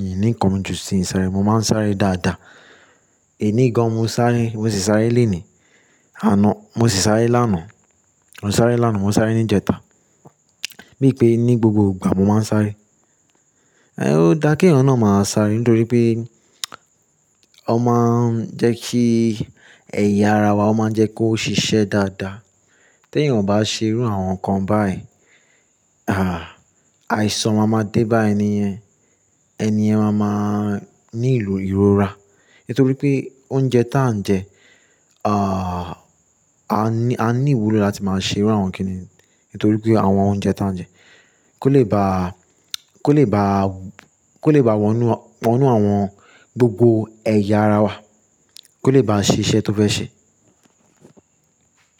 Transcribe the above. Mi ní nǹkan mí jù síì sáré. Mo máa ń sáré dáadáa. Èní gan, mo sáré, mo sì sáré lẹnìí. Àná, mo sì sáré lánàá. Mo sáré lánàá, mo sáré níjẹta. Bíi pé ní gbogbo ìgbà mo máa ń sáré. Ẹ̀ ó dá kí èèyàn náà máa sáré nítorí pé ó máa ń jẹ́ kí ẹ̀yà ara wà, ó máa ń jẹ́ kó ṣiṣẹ́ dáadáa. Tí èyàn bá ṣe irú àwọn nǹkan báyìí, ah, àìsàn máa ma dé bá ènìyẹn. Ẹ̀níyẹn máa máa ní ìrọra. Nítorí pé oúnjẹ tí à ń jẹ, ah, a ní, a ní ìwúlò láti máa ṣe irú àwọn kíni. Nítorí pé àwọn oúnjẹ tí à ń jẹ kò lè ba, kò lè ba, kò lè ba wọnú, wọnú àwọn gbogbo ẹ̀yà ara wa, kò lè bá ṣiṣẹ́ tó fẹ́ ṣe.